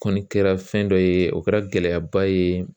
Kɔni kɛra fɛn dɔ ye o kɛra gɛlɛyaba ye